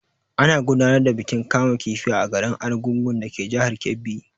Ana gudanar da bikin kama kifi a garin Argungun dake jihar Kebbi.